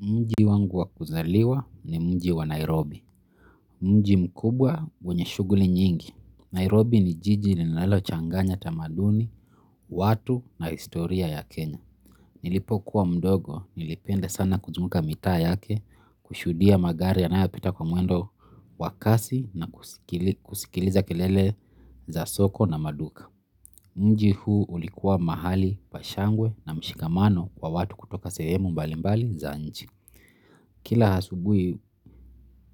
Mji wangu wa kuzaliwa ni mji wa Nairobi. Mji mkubwa wenye shughuli nyingi. Nairobi ni jiji linalo changanya tamaduni, watu na historia ya Kenya. Nilipo kuwa mdogo, nilipenda sana kuzunguka mitaa yake, kushuhudia magari yanayopita kwa mwendo wa kasi na kusikiliza kelele za soko na maduka. Mji huu ulikuwa mahali pa shangwe na mshikamano kwa watu kutoka sehemu mbalimbali za nchi. Kila asubuhi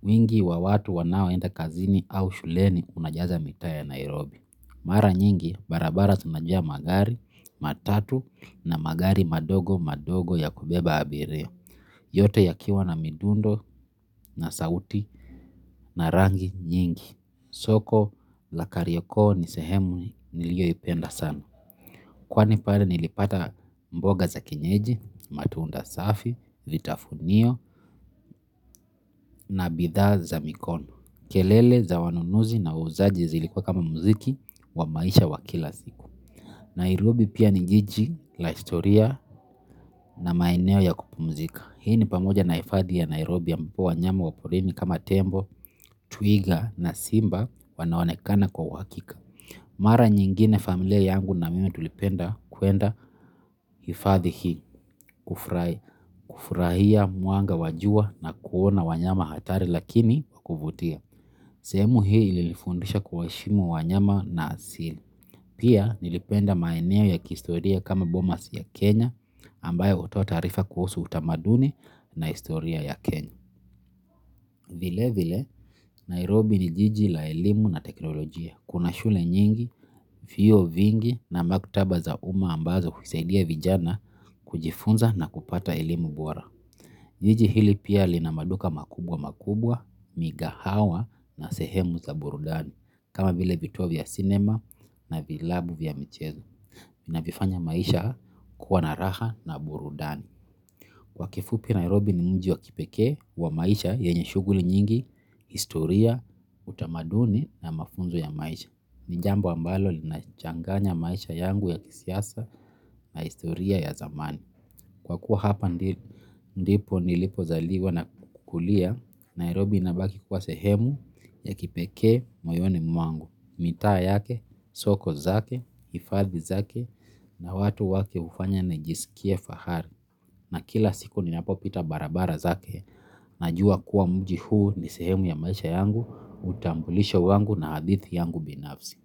wingi wa watu wanaoenda kazini au shuleni kunajaza mitaa ya Nairobi. Mara nyingi barabara zinajaa magari matatu na magari madogo madogo ya kubeba abiria. Yote yakiwa na mifundo, na sauti na rangi nyingi. Soko la kariokoo ni sehemu niliyo ipenda sana kwani pale nilipata mboga za kienyeji, matunda safi, vitafunio na bidhaa za mikondo. Kelele za wanunuzi na wauzaji zilikuwa kama muziki wa maisha wa kila siku. Nairobi pia ni jiji la historia na maeneo ya kupumzika. Hii ni pamoja na hifadhi ya Nairobi ya mpua nyama wapurini kama tembo, twiga na simba wanaonekana kwa uhakika. Mara nyingine familia yangu na mimi tulipenda kuenda hifadhi hii kufurahia mwanga wa jua na kuona wanyama hatari lakini wa kuvutia. Sehemu hii ilifundisha kuwaheshimu wanyama na asili. Pia nilipenda maeneo ya kihistoria kama Bomas ya Kenya ambayo hutoa taarifa kuhusu utamaduni na historia ya Kenya. Vile vile Nairobi ni jiji la elimu na teknolojia. Kuna shule nyingi, vyuo vingi na maktaba za uma ambazo husaidia vijana kujifunza na kupata elimu bora. Jiji hili pia lina maduka makubwa makubwa, migahawa na sehemu za burudani. Kama vile vituo vya cinema na vilabu vya michezo inavifanya maisha kuwa na raha na burudani. Kwa kiufupi Nairobi ni mji wa kipekee wa maisha yenye shughuli nyingi historia utamaduni ja mafunzo ya maisha. Ni jambo ambalo linachanganya maisha yangu ya kisasa na historia ya zamani. Kwa kuwa hapa ndipo nilipozaliwa na kukulia, Nairobi inabaki kuwa sehemu ya kipekee moyoni mwangu, mitaa yake, soko zake, hifadhi zake, na watu wake hufanya nijisikie fahari. Na kila siku ninapopita barabara zake najuwa kuwa mji huu ni sehemu ya maisha yangu, utambulisho wangu na hadithi yangu binafsi.